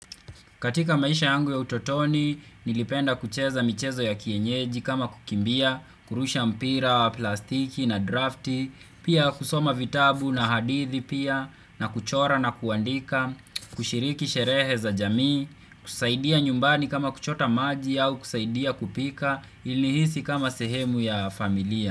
Katika maisha yangu ya utotoni nilipenda kucheza michezo ya kienyeji kama kukimbia, kurusha mpira, plastiki na drafti, pia kusoma vitabu na hadithi pia na kuchora na kuandika, kushiriki sherehe za jamii, kusaidia nyumbani kama kuchota maji au kusaidia kupika ili nihisi kama sehemu ya familia.